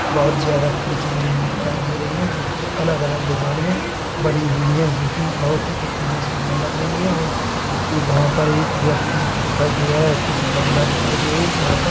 बोहत ज्यादा खिड़की बनी हुई दिखाई दे रही हैं जोकि अलग-अलग डिज़ाइन में बनी हुई हैं जोकि बहोत ही दिखने में सुंदर लग रही है और कु-वहाँ पर एक व्यक्ति दिखाई दे रहा है कुछ गमला दिखाई दे रही जी वहाँ पर--